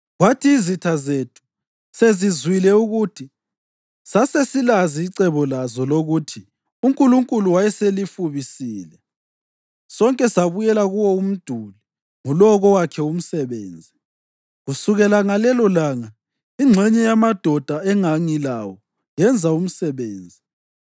Kwathi izitha zethu sezizwile ukuthi sasesilazi icebo lazo lokuthi uNkulunkulu wayeselifubisile, sonke sabuyela kuwo umduli, ngulowo kowakhe umsebenzi.